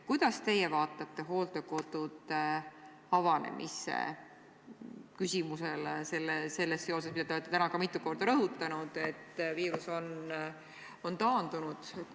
Kuidas teie vaatate hooldekodude avanemise küsimusele, seoses sellega, mida te olete täna ka mitu korda rõhutanud, et viirus on taandunud?